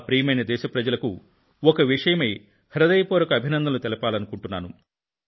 ప్రియమైన నా దేశ ప్రజలకు ఒక విషయమై హృదయపూర్వక అభినందనలు తెలపాలనుకుంటున్నాను